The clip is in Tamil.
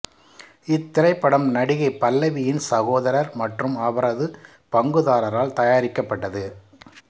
இத்திரைப்படம் நடிகை பல்லவியின் சகோதரர் மற்றும் அவரது பங்குதாரரால் தயாரிக்கப்பட்டது